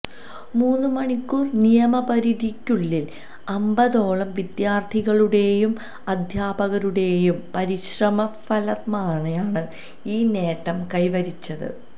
മൂന്നു മണിക്കൂർ സമയപരിധിക്കുള്ളിൽ അമ്പതോളം വിദ്യാർത്ഥികളുടെയും അധ്യാപകരുടെയും പരിശ്രമഫലമായാണ് ഈ നേട്ടം കൈ വരിച്ചത്